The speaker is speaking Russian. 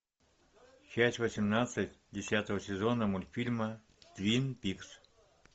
часть восемнадцать десятого сезона мультфильма твин пикс